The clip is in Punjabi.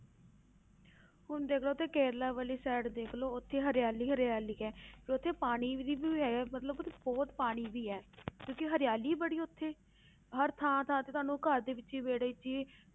ਹੁਣ ਦੇਖ ਲਓ ਉੱਥੇ ਕੇਰਲਾ ਵਾਲੀ side ਦੇਖ ਲਓ ਉੱਥੇ ਹਰਿਆਲੀ ਹਰਿਆਲੀ ਹੈ ਉੱਥੇ ਪਾਣੀ ਦੀ ਵੀ ਹੈ ਮਤਲਬ ਉੱਥੇ ਬਹੁਤ ਪਾਣੀ ਵੀ ਹੈ ਕਿਉਂਕਿ ਹਰਿਆਲੀ ਬੜੀ ਹੈ ਉੱਥੇ ਹਰ ਥਾਂ ਥਾਂ ਤੇ ਤੁਹਾਨੂੰ ਘਰ ਦੇ ਵਿੱਚ ਹੀ ਵਿਹੜੇ ਵਿੱਚ ਹੀ